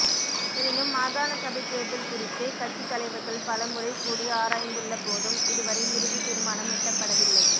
எனினும் மாகாண சபைத் தேர்தல் குறித்து கட்சித் தலைவர்கள் பலமுறை கூடி ஆராயந்துள்ளபோதும் இதுவரை இறுதித் தீர்மானம் எட்டப்படவில்லை